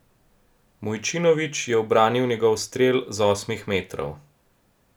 Mujčinović je obranil njegov strel z osmih metrov.